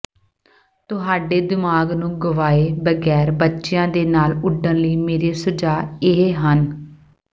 ਤੁਹਾਡੇ ਦਿਮਾਗ ਨੂੰ ਗਵਾਏ ਬਗੈਰ ਬੱਚਿਆਂ ਦੇ ਨਾਲ ਉੱਡਣ ਲਈ ਮੇਰੇ ਸੁਝਾਅ ਇਹ ਹਨ